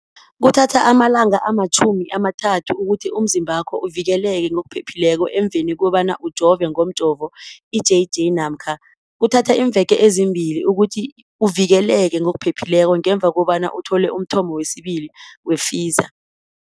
Kuthatha amalanga ama-30 ukuthi umzimbakho uvikeleke ngokupheleleko emveni kobana ujove ngomjovo i-JJ namkha kuthatha iimveke ezimbili ukuthi uvikeleke ngokupheleleko ngemva kobana uthole umthamo wesibili wePfizer.